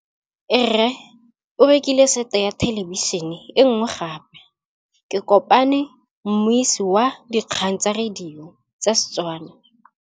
Rre o rekile sete ya thêlêbišênê e nngwe gape. Ke kopane mmuisi w dikgang tsa radio tsa Setswana.